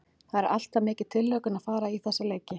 Það er alltaf mikil tilhlökkun að fara í þessa leiki.